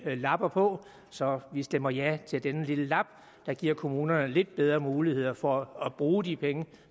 man lapper på så vi stemmer ja til denne lille lap der giver kommunerne nogle lidt bedre muligheder for at bruge de penge